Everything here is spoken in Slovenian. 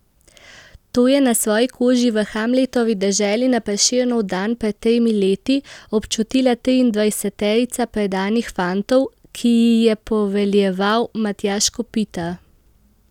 To je na svoji koži v Hamletovi deželi na Prešernov dan pred tremi leti občutila triindvajseterica predanih fantov, ki ji je poveljeval Matjaž Kopitar.